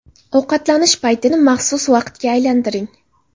Ovqatlanish paytini maxsus vaqtga aylantiring.